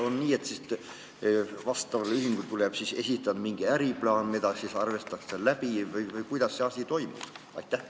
Kas on nii, et ühingul tuleb esitada mingi äriplaan, mis siis arutatakse läbi, või kuidas see asi toimub?